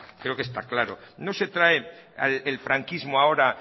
creo que está claro no se trae el franquismo ahora